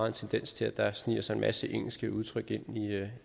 en tendens til at der sniger sig en masse engelske udtryk ind i